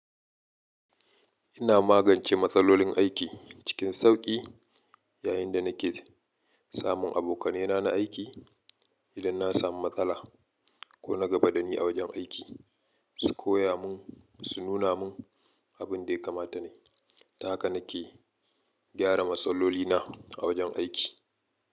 Ina magance matsalolin aiki cikin sauƙi yayin da nake samun abokanai na na aiki. Idan na samu matsala ko na gaba dani a wajen aiki, su koya mun, su nuna mun abin da ya kamata nai. Ta haka na ke gyara matsaloli na a wajen aiki.